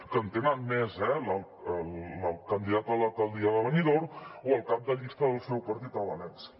que en tenen més eh el candidat a l’alcaldia de benidorm o el cap de llista del seu partit a valència